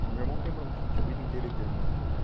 Porque meu irmão tem bronquite, a vida inteira ele teve bronquite.